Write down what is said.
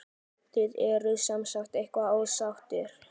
Þið eruð semsagt eitthvað ósáttir?